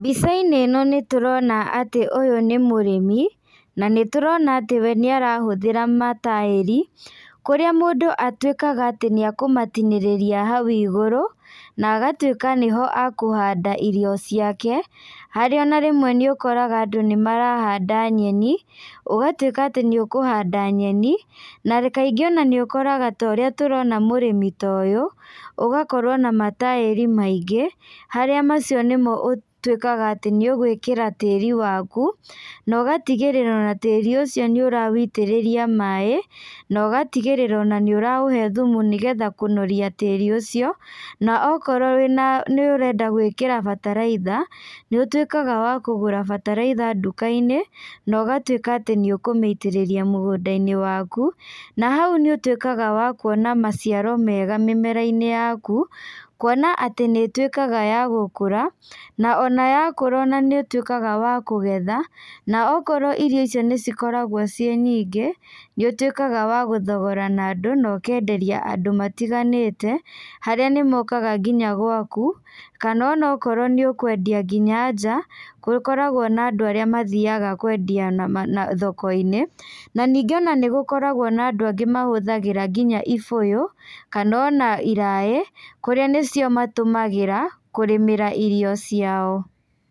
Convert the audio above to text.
Mbicainĩ ĩno nĩtũrona atĩ ũyũ nĩ mũrĩmi, na nĩtũrona atĩ we nĩarahũthĩra mataĩri, kũrĩa mũndũ atuĩkaga atĩ nĩakũmatinĩrĩria hau igũrũ, na agatuĩka nĩho akũhanda irio ciake, harĩa ona rĩmwe nĩ ũkoraga andũ nĩmarahanda nyeni, ũgatuĩka atĩ nĩũkũhanda nyeni, na kaingĩ ona nĩ ũkoraga ta ũrĩa tũrona mũrĩmi ta ũyũ, ũgakorwo na mataĩri maingĩ, harĩa macio nĩmo ũtuĩkaga atĩ nĩũgwĩkĩra tĩri waku, na ũgatigĩrĩra ona tĩri ũcio nĩ ũrawĩitĩrĩria maĩ, na ũgatigĩrĩra ona nĩ ũraũhe thumu nĩgetha kũnoria tĩri ũcio, na okorwo wĩna nĩũrenda gwĩkĩra bataraitha, nĩũtuĩkaga wa kũgũra bataraitha ndukainĩ, na ũgatuĩka atĩ nĩũkũmĩitĩrĩria mũgũndainĩ waku, na hau nĩũtuĩkaga wa kuona maciaro mega mĩmerainĩ yaku, kuona atĩ nĩituĩkaga ya gũkũra, na ona ya kũra nĩũtuĩkaga wa kũgetha, na okorwo irio icio nĩcikoragwo ciĩ nyingĩ, nĩũtuĩkaga wa gũthogora na andũ na ũkenderia andũ matiganĩte, harĩa nĩmokaga nginya gwaku, kana onokorwo nĩ ũkwendia nginya nja, gũkoragwo na andũ arĩa mathiaga kwendia na na thokoinĩ, na ningĩ ona nĩgũkoragwo na andũ angĩ mahũthagĩra nginya ibũyũ, kana ona iraĩ, kũrĩa nĩcio matũmagĩra, kũrĩmĩra irio ciao.